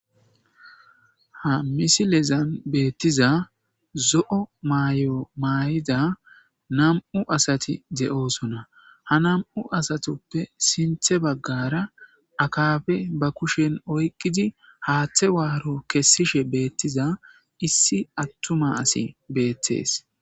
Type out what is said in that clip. ha misilezan beettiza zo7o mayo maay7ida nam7u asati de7osona ha nam7u asatoppe sinthe baggara akafe ba kushen oyqidi haaththe waaro kessishe beettiza issi attuma asi beettees